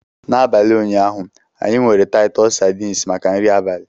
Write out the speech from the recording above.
N'abalị ụnyaahụ, anyị nwere Titus sardines maka nri abalị.